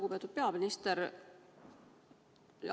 Lugupeetud peaminister!